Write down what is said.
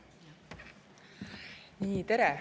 Tere!